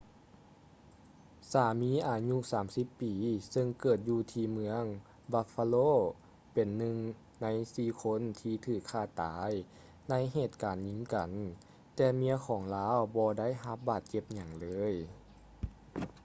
ສາມີອາຍຸ 30 ປີ ເຊິ່ງເກີດຢູ່ທີ່ເມືອງ buffalo ເປັນໜຶ່ງໃນສີ່ຄົນທີ່ຖືກຂ້າຕາຍໃນເຫດການຍິງກັນ ແຕ່ເມຍຂອງລາວບໍ່ໄດ້ຮັບບາດເຈັບຫຍັງເລີຍ